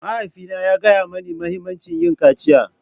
Mahaifina ya gaya mani muhimmancin yin kaciya.